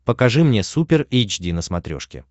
покажи мне супер эйч ди на смотрешке